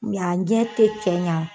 U mi y'a gɛ te cɛ ɲa